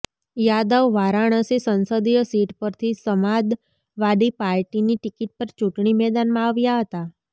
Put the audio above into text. યાદવ વારાણસી સંસદીય સીટ પરથી સમાદવાદી પાર્ટીની ટિકિટ પર ચૂંટણી મેદાનમાં આવ્યા હતા